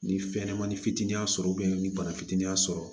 Ni fɛnɲɛnɛmani fitinin sɔrɔ ni bana fitinin y'a sɔrɔ